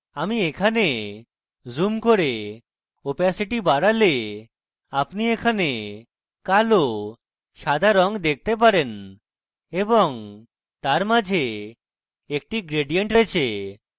আমি এখানে zoom করে opacity বাড়ালে আপনি এখানে কালো সাদা রঙ দেখতে পারেন এবং তার মাঝে একটি gradient রয়েছে